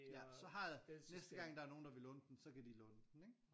Ja så har jeg næste gang der nogen der vil låne den så kan de låne den ikke